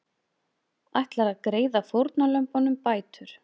Ætlar að greiða fórnarlömbunum bætur